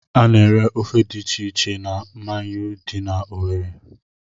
Ana-ere ofe dị iche iche na Manyuu dị n'Owerre.